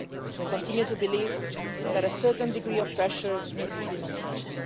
We continue to believe that a certain degree of pressure needs to be maintained.